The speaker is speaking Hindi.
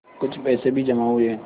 कुछ पैसे भी जमा हुए